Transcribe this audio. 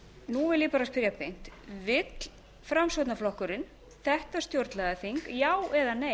nú vil ég bara spyrja beint vill framsóknarflokkurinn þetta stjórnlagaþing já eða nei